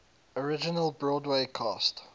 original broadway cast